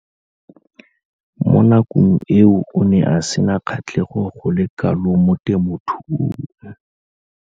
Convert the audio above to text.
Mo nakong eo o ne a sena kgatlhego go le kalo mo temothuong.